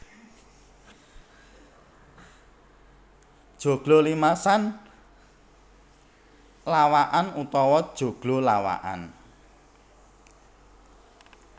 Joglo limasan lawakan utawa joglo lawakan